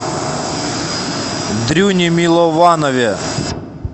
дрюне милованове